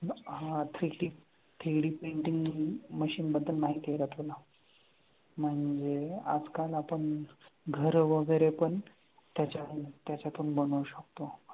हां three D three D printing machine बद्दल माहिती आहे का तुला? म्हणजे आजकाल आपण घर वगैरे पण त्याच्यातून त्याच्यातून बनवू शकतो.